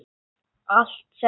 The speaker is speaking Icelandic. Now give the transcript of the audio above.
Allt settið